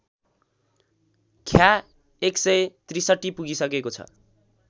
ख्या १६३ पुगिसकेको छ